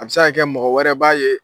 A bɛ se ka kɛ mɔgɔ wɛrɛ b'a ye